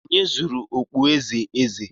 Onye zuru okpueze eze?